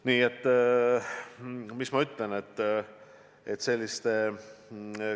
Nii et mis ma ütlen?